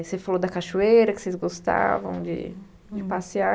Você falou da cachoeira, que vocês gostavam de de passear.